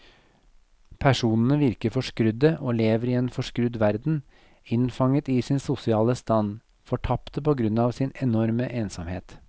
Personene virker forskrudde og lever i en forskrudd verden, innfanget i sin sosiale stand, fortapte på grunn av sin enorme ensomhet.